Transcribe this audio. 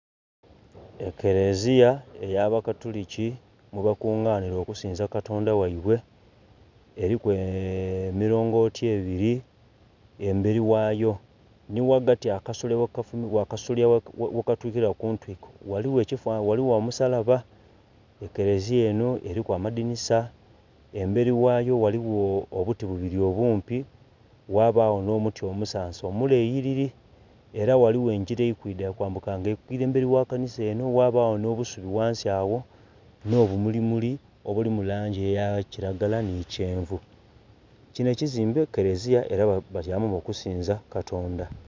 Ekeleziya ey'abakatuliki mwebakunganhira okusinza katonda ghaibwe, eliku emilongooti ebiri embeli ghayo, nhi ghagati akasolya ghe katukila kuntwiko ghaligho ekifananhi ghaligho omusalaba. Ekeleziya enho eliku amadhinisa, embeli ghayo ghaligho obuti bubili obuumpi, ghabagho nh'omuti omusansa omuleyilili, ela ghaligho engira eli kwidha eli kwambuka nga eli kwiidha emberi ghakanhisa enho, ghabagho nh'obusubi ghansi agho nh'obumulimuli obulimu langi eya kilagala nhi kyenvu. Kinho ekizimbe kereziya era batyamamu okusinza katonda